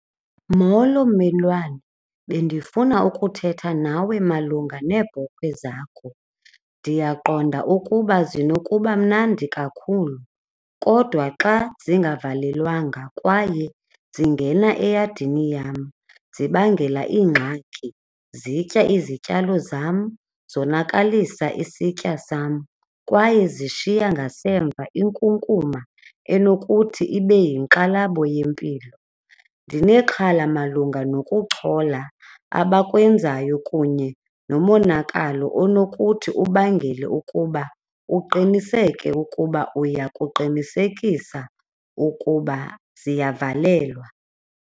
Molo mmelwane, bendifuna ukuthetha nawe malunga neebhokhwe zakho, ndiyaqonda ukuba zinokuba mnandi kakhulu kodwa xa zingavelelwanga kwaye zingena eyadini yam zibangela iingxaki, zitya izityalo zam, zonakalisa isitya sam kwaye zishiya ngasemva inkunkuma enokuthi ibe yinkxalabo yempilo. Ndinexhala malunga nokuchola abakwenzayo kunye nomonakalo onokuthi ubangele ukuba uqiniseke ukuba uya kuqinisekisa ukuba ziyavalelwa.